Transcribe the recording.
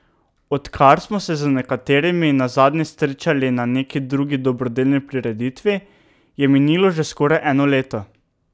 Odkar smo se z nekaterimi nazadnje srečali na neki drugi dobrodelni prireditvi, je minilo že skoraj eno leto.